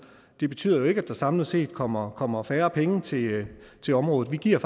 det betyder jo ikke at der samlet set kommer kommer færre penge til til området vi giver